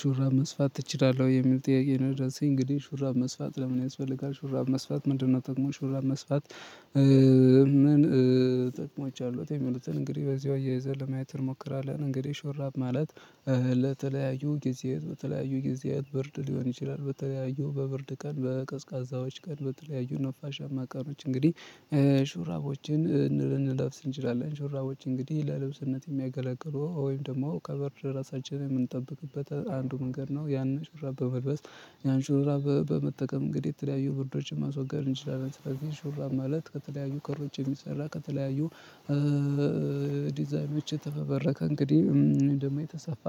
"ሹራብ መስፋት ትችላለህ?" የሚል ጥያቄ ነው የደረሰኝ። እንግዲህ ሹራብ መስፋት ለምን ያስፈልጋል? ሹራብ መስፋት ምንድን ነው ጥቅሙ? ሹራብ መስፋት ምን ጥቅሞች አሉት? የሚሉትን እንግዲህ በዚሁ አያይዘን ለማየት እንሞክራለን። እንግዲህ ሹራብ ማለት ለተለያዩ ጊዜ በተለያዩ ጊዜያት ብርድ ሊሆን ይችላል፤ በተለያዩ፣ በብርድ ቀን፣ በቀዝቃዛ ቀናት፣ በተለያዩ ነፋሻማ ቀኖች እንግዲህ ሹራቦችን ልንለብስ እንችላለን። ሹራቦች እንግዲህ ለልብስነት የሚያገለግሉ ወይም ደግሞ ከብርድ ራሳችንን የምንጠብቅበት አንዱ መንገድ ነው። ያንን ሹራብ በመልበስ፣ ያን ሹራብ በመጠቀም እንግዲህ የተለያዩ ብርዶችን ማስወገድ እንችላለን። ስለዚህ ሹራብ ማለት ከተለያዩ ክሮች የሚሰራ፣ ከተለያዩ ዲዛይኖች የተፈበረከ፣ እንግዲህ ወይም ደግሞ የተሰፋ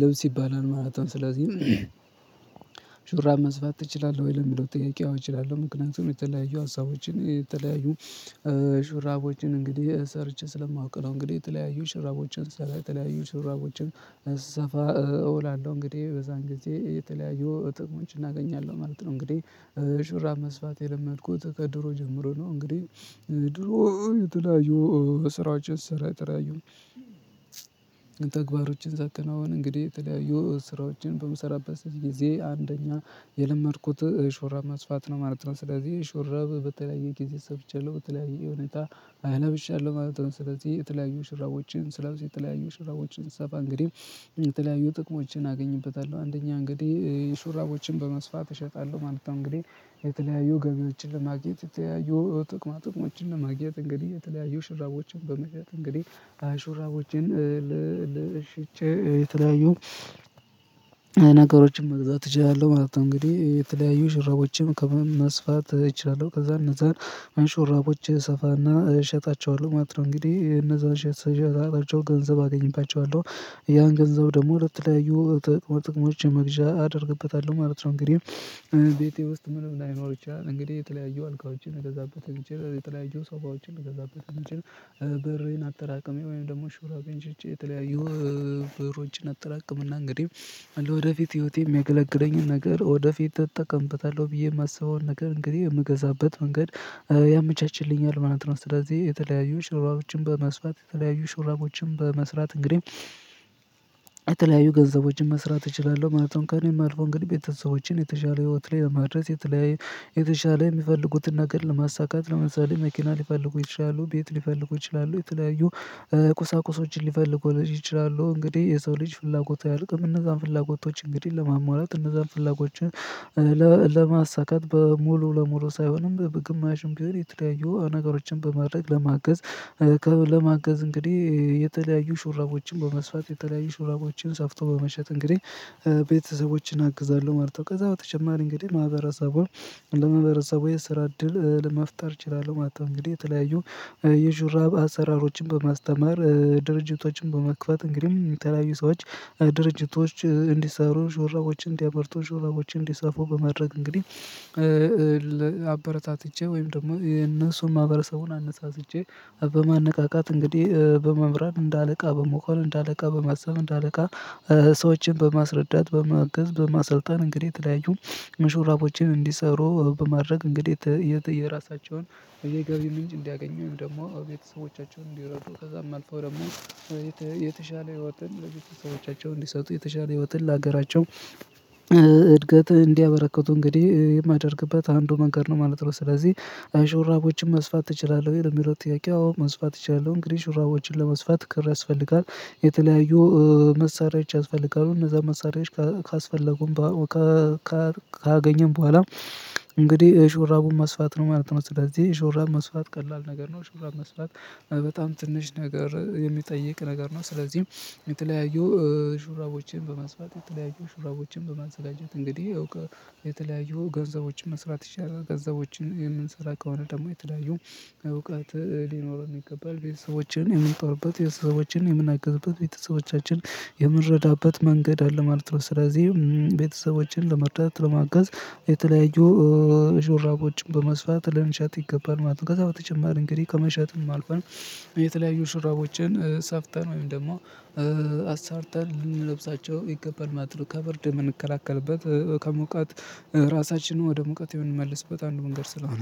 ልብስ ይባላል ማለት ነው። ስለዚህ "ሹራብ መስፋት ትችላለህ ወይ?" ለሚለው ጥያቄ፣ አዎ እችላለሁ፤ ምክንያቱም የተለያዩ ሐሳቦችን፣ የተለያዩ ሹራቦችን እንግዲህ ሰርቼ ስለማውቅ ነው፤ እንግዲህ የተለያዩ ሹራቦችን ስለተለያዩ፣ የተለያዩ ሹራቦችን ስሰፋ እውላለሁ። እንግዲህ በዚያን ጊዜ የተለያዩ ጥቅሞችን እናገኛለሁ ማለት ነው። እንግዲህ ሹራብ መስፋት የለመድኩት ከድሮ ጀምሮ ነው፤ እንግዲህ ድሮ የተለያዩ ስራዎችን ስሰራ፣ የተለያዩ ተግባራትን ሳከናውን እንግዲህ የተለያዩ ስራዎችን በምሰራበት ጊዜ አንደኛ የለመድኩት ሹራብ መስፋት ነው ማለት ነው። ስለዚህ ሹራብ በተለያየ ጊዜ ሰፍቻለሁ፤ በተለያዩ ሁኔታዎች ለብሻለሁ ማለት ነው። ስለዚህ የተለያዩ ሹራቦችን ስለብስ፣ የተለያዩ ሹራቦችን ስሰፋ እንግዲህ የተለያዩ ጥቅሞችን አገኝበታለሁ። አንደኛ እንግዲህ ሹራቦችን በመስፋት እሸጣለሁ ማለት ነው፤ እንግዲህ የተለያዩ ገቢዎችን ለማግኘት የተለያዩ ጥቅማ ጥቅሞችን ለማግኘት እንግዲህ የተለያዩ ሹራቦችን በመሸጥ እንግዲህ አሹራቦችን ለሽጬ የተለያዩ ነገሮችን መግዛት እችላለሁ ማለት ነው እንግዲህ የተለያዩ ሽራቦችን ከመስፋት እችላለሁ ከዛ እነዛን ሹራቦች እሰፋና እሸጣቸዋለሁ ማለት ነው እንግዲህ እነዛን ስሸጣቸው ገንዘብ አገኝባቸዋለሁ ያን ገንዘብ ደግሞ ለተለያዩ ጥቅሞች መግዣ አደርግበታለሁ ማለት ነው እንግዲህ ቤቴ ውስጥ ምንም ላይኖር ይችላል እንግዲህ የተለያዩ አልጋዎችን ልገዛበት የሚችል የተለያዩ ሶፋዎችን ልገዛበት የሚችል ብሬን አጠራቅሜ ወይም ደግሞ ሹራቤን ሽጬ የተለያዩ ብሮችን አጠራቅምና እንግዲህ ለወደፊት ህይወቴ የሚያገለግለኝን ነገር ወደፊት እጠቀምበታለሁ ብዬ የማስበውን ነገር እንግዲህ የምገዛበት መንገድ ያመቻችልኛል ማለት ነው ስለዚህ የተለያዩ ሹራቦችን በመስፋት የተለያዩ ሹራቦችን በመስራት እንግዲህ የተለያዩ ገንዘቦችን መስራት እችላለሁ ማለት ነው ከእኔም አልፎ እንግዲህ ቤተሰቦቼን የተሻለ ህይወት ላይ ለማድረስ የተለያዩ የተሻለ የሚፈልጉትን ነገር ለማሳካት ለምሳሌ መኪና ሊፈልጉ ይችላሉ ቤት ሊፈልጉ ይችላሉ የተለያዩ ቁሳቁሶችን ሊፈልጉ ይችላሉ እንግዲህ የሰው ልጅ ፍላጎት አያልቅም እነዛን ፍላጎቶች እንግዲህ ለማሟላት እነዛን ፍላጎችን ለማሳካት በሙሉ ለሙሉ ሳይሆንም በግማሽም ግን ቢሆን የተለያዩ ነገሮችን በማድረግ ለማገዝ ለማገዝ እንግዲህ የተለያዩ ሹራቦችን በመስፋት የተለያዩ ሹራቦችን ሰፍቶ በመሸጥ እንግዲህ ቤተሰቦችን አግዛለሁ ማለት ነው ከዛ በተጨማሪ እንግዲህ ማህበረሰቡን ለማህበረሰቡ የስራ እድል ለመፍጠር እችላለሁ ማለትነው እንግዲህ የተለያዩ የሹራብ አሰራሮችን በማስተማር ድርጅቶችን በመክፈት እንግዲህ የተለያዩ ሰዎች ድርጅቶች እንዲሰሩ ሹራቦችን እንዲያመርቱ ሹራቦችን እንዲሰፉ በማድረግ እንግዲህ አበረታትቼ ወይም ደግሞ የነሱን ማህበረሰቡን አነሳስቼ በማነቃቃት እንግዲህ በመምራት እንደ አለቃ በመሆን እንደ አለቃ በማሰብ እንደ አለቃ ሰዎችን በማስረዳት በማገዝ በማሰልጠን እንግዲህ የተለያዩ ሹራቦችን እንዲሰሩ በማድረግ እንግዲህ የራሳቸውን የገቢ ምንጭ እንዲያገኙም ደግሞ ቤተሰቦቻቸውን እንዲረዱ ከዛም አልፈው ደግሞ የተሻለ ህይወትን ለቤተሰቦቻቸው እንዲሰጡ የተሻለ ህይወትን ለሀገራቸው እድገት እንዲያበረከቱ እንግዲህ የማደርግበት አንዱ መንገድ ነው ማለት ነው ስለዚህ አሽራቦችን መስፋት ትችላለህ ወይ ለሚለው ጥያቄ አዎ መስፋት እችላለሁ እንግዲህ ሹራቦችን ለመስፋት ክር ያስፈልጋል የተለያዩ መሳሪያዎች ያስፈልጋሉ እነዛ መሳሪያዎች ካስፈለጉም ካገኘን በኋላ እንግዲህ ሹራቡን መስፋት ነው ማለት ነው ስለዚህ ሹራብ መስፋት ቀላል ነገር ነው ሹራብ መስፋት በጣም ትንሽ ነገር የሚጠይቅ ነገር ነው ስለዚህ የተለያዩ ሹራቦችን በመስፋት የተለያዩ ሹራቦችን በማዘጋጀት እንግዲህ እውቅ የተለያዩ ገንዘቦችን መስራት ይቻላል ገንዘቦችን የምንሰራ ከሆነ ደግሞ የተለያዩ እውቀት ሊኖረን ይገባል ቤተሰቦችን የምንጦርበት ቤተሰቦችን የምንአግዝበት ቤተሰቦቻችን የምረዳበት መንገድ አለ ማለት ነው ስለዚህ ቤተሰቦችን ለመረዳት ለማገዝ የተለያዩ ሹራቦችን በመስፋት ልንሸጥ ይገባል ማለት ነው ከዛ በተጨማር እንግዲህ ከመሸጥም አልፈን የተለያዩ ሹራቦችን ሰፍተን ወይም ደግሞ አሰርተን ልንለብሳቸው ይገባል ማለት ነው ከብርድ የምንከላከልበት ከሙቀት ራሳችንን ወደ ሙቀት የምንመልስበት አንዱ መንገድ ስለሆነ